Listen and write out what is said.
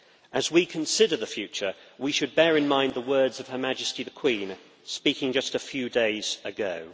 As we consider the future, we should bear in mind the words of Her Majesty the Queen, speaking just a few days ago.